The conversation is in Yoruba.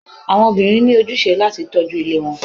Àwọn òbirin ní ojúṣe láti tọjú ílé wọn